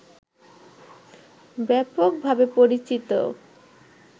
ব্যাপকভাবে পরিচিত